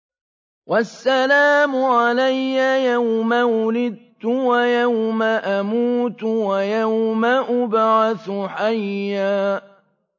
وَالسَّلَامُ عَلَيَّ يَوْمَ وُلِدتُّ وَيَوْمَ أَمُوتُ وَيَوْمَ أُبْعَثُ حَيًّا